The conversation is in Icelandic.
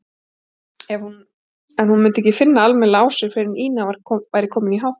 En hún myndi ekki finna almennilega á sér fyrr en Ína væri komin í háttinn.